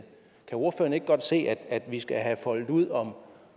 kan ordføreren ikke godt se at vi skal have foldet ud om